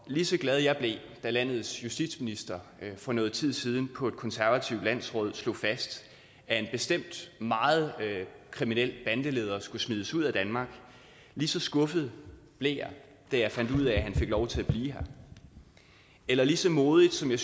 lige så glad jeg blev da landets justitsminister for noget tid siden på et konservativt landsråd slog fast at en bestemt meget kriminel bandeleder skulle smides ud af danmark lige så skuffet blev jeg da jeg fandt ud af at han fik lov til at blive her eller lige så modigt som jeg